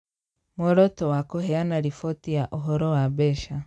Muoroto wa kũheana riboti ya Ũhoro wa Mbeca: